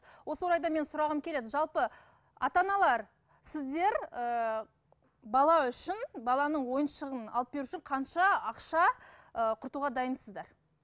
осы орайда мен сұрағым келеді жалпы ата аналар сіздер ііі бала үшін баланың ойыншығын алып беру үшін қанша ақша ыыы құртуға дайынсыздар